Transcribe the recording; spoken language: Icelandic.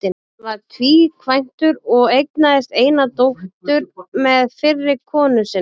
Hann var tvíkvæntur og eignaðist eina dóttur með fyrri konu sinni.